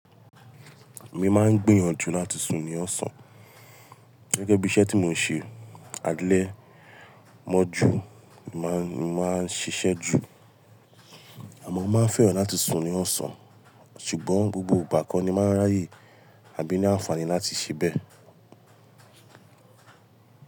Mi máa ń gbìyànjú láti sùn ní ọ̀sán. Gẹ́gẹ́ bí iṣẹ́ tí mò ń ṣe. Alẹ̀ mọ́ ju, ni mo máa ńi mo maa n ṣiṣẹ́ ju, àmọ́ mo máa ń fẹ́ràn láti sùn ní ọ̀sán, ṣùgbọ́n gbogbo ìgbà ko ni máa ń ráyè, àbí ní àǹfààní láti ṣẹ bẹ́ẹ̀.